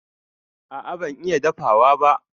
A'a ban iya dafawa ba.